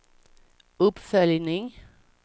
uppföljning